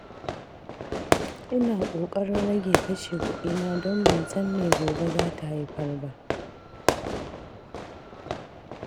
Ina kokarin rage kashe kudina don ban san me gobe za ta haifar ba.